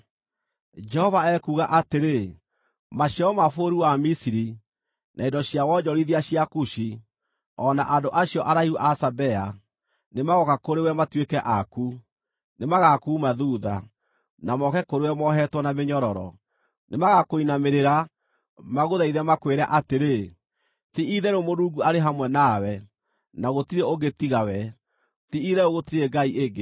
Jehova ekuuga atĩrĩ: “Maciaro ma bũrũri wa Misiri, na indo cia wonjorithia cia Kushi, o na andũ acio araihu a Sabea, nĩmagooka kũrĩ we matuĩke aku; nĩmagakuuma thuutha, na moke kũrĩ we mohetwo na mĩnyororo. Nĩmagakũinamĩrĩra, magũthaithe, makwĩre atĩrĩ, ‘Ti-itherũ Mũrungu arĩ hamwe nawe, na gũtirĩ ũngĩ tiga we; ti-itherũ gũtirĩ ngai ĩngĩ.’ ”